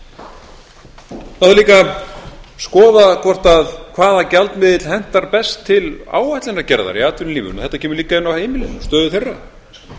það þarf líka að skoða hvaða gjaldmiðill hentar best til áætlunargerðar í atvinnulífinu þetta kemur líka inn á heimilin og stöðu þeirra